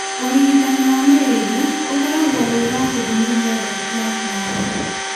Ũrigitani wa malaria ũkoragwo wĩ wa gĩthimi gĩothe kĩa ndawa.